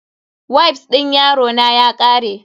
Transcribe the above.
Wifs din yarona ya kare.